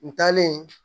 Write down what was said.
N taalen